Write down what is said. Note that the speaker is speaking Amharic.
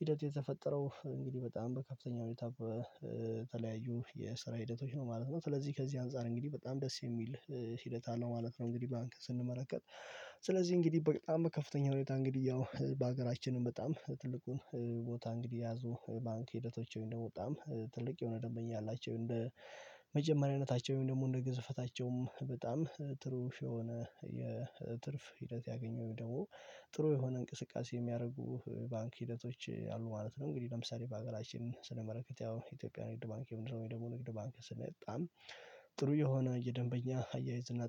ሂደት የተፈጠረው እንግዲህ በጣም በከፍተኛ ሁኔታ በተለያዩ የስራ ሂደቶች ነው ማለት ነው። ስለዚህ ከዚህ አንፃር እንግዲህ በጣም ደስ የሚል ሂደት አለው ማለት ነው። እንግዲህ ባንክ ስንመለከት ስለዚህ እንግዲህ በጣም ከፍተኛ ሁኔታ እንግዲህ ያው በሀገራችንም በጣም ትልቁን ቦታ እንግዲህ የያዙ ባንክ ሂደቶች እንደምው በጣም ትልቅ የሆነ ደንበኛ አላቸው እንደ መጀመሪያነታቸውም ወይም ደግሞ እንደ ግዝፈታቸውም በጣም ጥሩ የሆነ የትርፍ ሂደት ያገኘው ደግሞ ጥሩ የሆነ እንቅስቃሴ የሚያረጉ ባንክ ሂደቶች አሉ ማለት ነው። እንግዲህ ለምሳሌ በአገራችን ስነመለከት ያው የኢትዮጵያ ንግድ ባንክ ወይ ደግሞ ንግድ ባንክ ስንል በጣም ጥሩ የሆነ የደንበኛ አያይዝና